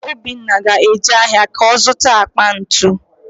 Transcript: Obinna ga-eje ahịa ka ọ zụta akpa ntu